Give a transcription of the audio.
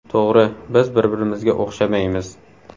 To‘g‘ri, biz bir-birimizga o‘xshamaymiz.